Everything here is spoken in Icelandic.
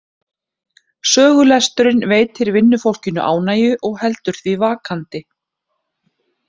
Sögulesturinn veitir vinnufólkinu ánægju og heldur því vakandi.